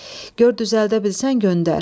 Gör düzəldə bilsən göndər.